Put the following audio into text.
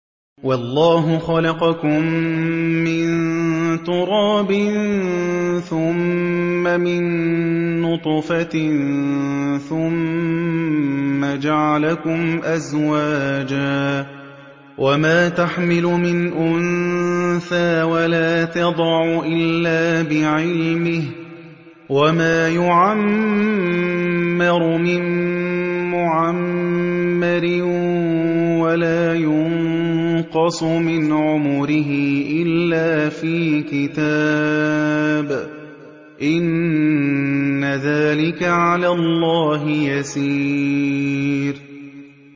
وَاللَّهُ خَلَقَكُم مِّن تُرَابٍ ثُمَّ مِن نُّطْفَةٍ ثُمَّ جَعَلَكُمْ أَزْوَاجًا ۚ وَمَا تَحْمِلُ مِنْ أُنثَىٰ وَلَا تَضَعُ إِلَّا بِعِلْمِهِ ۚ وَمَا يُعَمَّرُ مِن مُّعَمَّرٍ وَلَا يُنقَصُ مِنْ عُمُرِهِ إِلَّا فِي كِتَابٍ ۚ إِنَّ ذَٰلِكَ عَلَى اللَّهِ يَسِيرٌ